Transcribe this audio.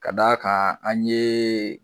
Ka d' a kan an ye